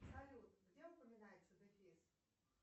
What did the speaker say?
салют где упоминается дефис